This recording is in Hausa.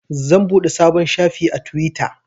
Zan buɗe sabon shafi a twitter.